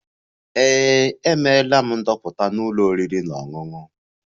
Ee, emere m ndoputa na ụlọ oriri na ọṅụṅụ